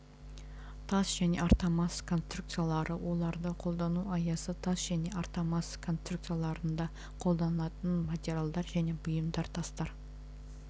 тас және армотас конструкциялары оларды қолдану аясы тас және армотас конструкцияларында қолданылатын материалдар және бұйымдар тастар